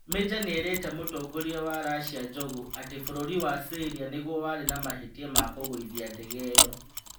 Meja nĩ erĩte Mũtongoria wa Russia Njogu atĩ bũrũri wa Syria nĩguo warĩ na mahĩtia ma kũgũithia ndege ĩyo.